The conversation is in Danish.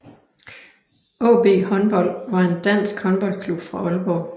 AaB Håndbold var en dansk håndboldklub fra Aalborg